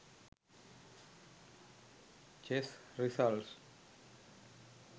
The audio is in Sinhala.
chess results